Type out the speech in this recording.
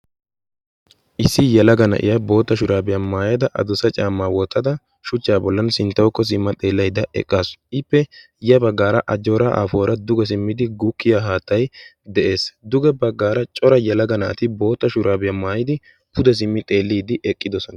issi yelaga na'iya bootta shuraabiyaa maayada adusa caamaa wottada shuchchaa bollan sinttawakko simma xeellayda eqqaasu ippe ya baggaara ajjoora afoora duge simmidi guukkiya haattay de'ees duge baggaara cora yalaga naati bootta shuraabiyaa maayidi pude simmi xeelliiddi eqqidosona